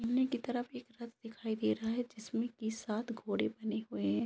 सामने के तरफ एक रथ दिखाई दे रहा है जिसमे की सात घोड़े बने हुए है।